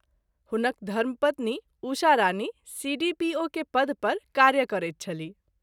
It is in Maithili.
हुनक घर्म पत्नी उषा रानी सी.डी.पी.ओ के पद पर कार्य करैत छलीह।